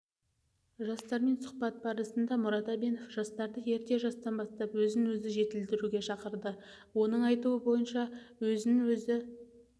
жастармен сұхбат барысында мұрат әбенов жастарды ерте жастан бастап өзін-өзі жетілдіруге шақырды оның айтуы бойынша өзін-өзі